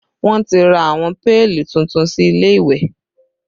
Wọn ti ra àwọn péèlì tuntun sí ilé ìwẹ̀